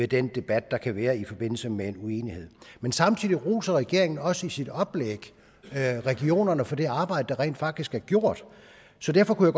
den debat der kan være i forbindelse med uenighed samtidig roser regeringen også i sit oplæg regionerne for det arbejde der rent faktisk er gjort så derfor kunne